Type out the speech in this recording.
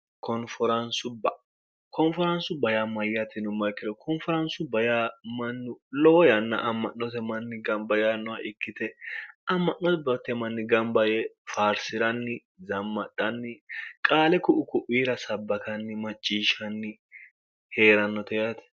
konfaraansu bayammayyatinu markiro koonfaraansu baya mannu lowo yanna amma'note manni gamba yaannoha ikkite amma'note bote manni gambayee farsi'ranni zammadhanni qaale ku'u ku'wiira sabbakanni macciishshanni hee'rannote yaate